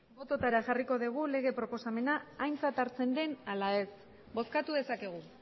bototara jarriko dugu lege proposamena aintzat hartzen den ala ez bozkatu dezakegu